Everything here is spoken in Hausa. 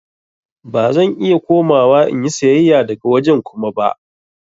Ba zan iya komawa in yi sayayya daga wajen Kuma ba.